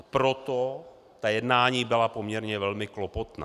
A proto ta jednání byla poměrně velmi klopotná.